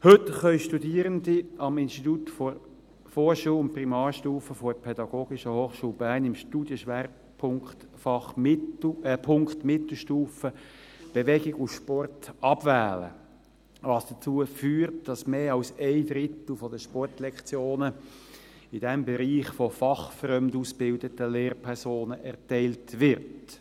Heute können Studierende am Institut Vorschul- und Primarstufe der PH Bern im Studienschwerpunkt Mittelstufe das Fach Bewegung und Sport abwählen, was dazu geführt hat, dass mehr als ein Drittel der Sportlektionen in diesem Bereich von fachfremd ausgebildeten Lehrpersonen erteilt wird.